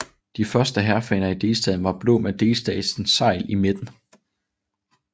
De første hærfaner i delstaten var blå med delstatens segl i midten